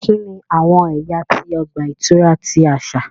Kini awọn ẹya ti ọgba-ìturá ti aṣa?